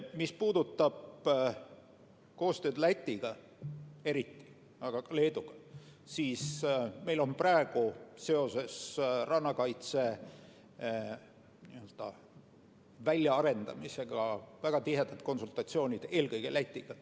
Mis puudutab koostööd Lätiga, aga ka Leeduga, siis meil on praegu seoses rannakaitse väljaarendamisega väga tihedad konsultatsioonid eelkõige Lätiga.